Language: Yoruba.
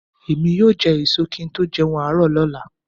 Èmi yóò jẹ ẹ̀so kí n tó jẹun àárọ̀ lọ́la